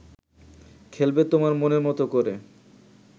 খেলবে তোমার মনের মতো করে